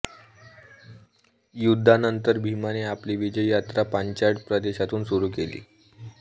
युद्धानंतर भीमाने आपली विजय यात्रा पांचाळ प्रदेशातून सुरू केली